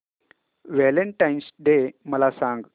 Valentine's Day मला सांग